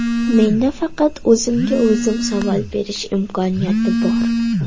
Menda faqat o‘zimga o‘zim savol berish imkoniyati bor.